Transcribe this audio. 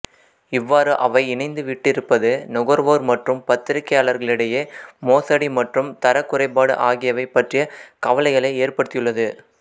இவ்வாறு அவை இணைந்து விட்டிருப்பது நுகர்வோர் மற்றும் பத்திரிகையாளர்களிடையே மோசடி மற்றும் தரக் குறைபாடு ஆகியவை பற்றிய கவலைகளை ஏற்படுத்தியுள்ளது